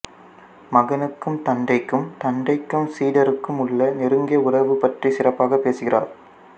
மகனுக்கும் தந்தைக்கும் தந்தைக்கும் சீடருக்கும் உள்ள நெருங்கிய உறவு பற்றிச் சிறப்பாகப் பேசுகிறார்